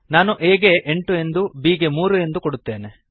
ನಾನು a ಗೆ ಎಂಟು ಎಂದೂ b ಗೆ ಮೂರು ಎಂದು ಕೊಡುತ್ತೇನೆ